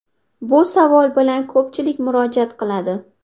Bu savol bilan ko‘pchilik murojaat qiladi.